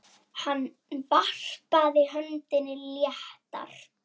Hann varpaði öndinni léttar.